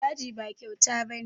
Caji ba kyauta ba ne